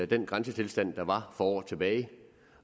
den grænsetilstand der var for år tilbage